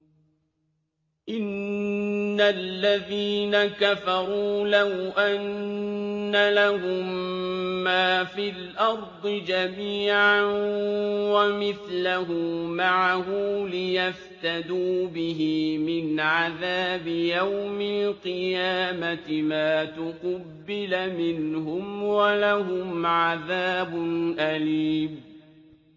إِنَّ الَّذِينَ كَفَرُوا لَوْ أَنَّ لَهُم مَّا فِي الْأَرْضِ جَمِيعًا وَمِثْلَهُ مَعَهُ لِيَفْتَدُوا بِهِ مِنْ عَذَابِ يَوْمِ الْقِيَامَةِ مَا تُقُبِّلَ مِنْهُمْ ۖ وَلَهُمْ عَذَابٌ أَلِيمٌ